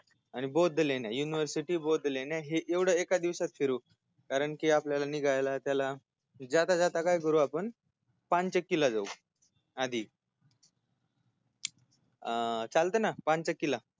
आणि बौद्ध लेण्या university बौद्ध लेण्या हे एवढ एका दिवसात फिरु कारण की आपल्याला निघायला त्याला जाता जाता काय करु आपण पानचक्कीला जाऊ आधी आ चालतयना पानचक्कीला